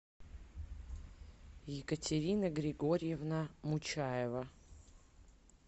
екатерина григорьевна мучаева